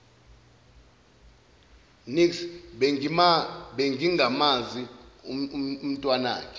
niks bengingamazi umntwanakhe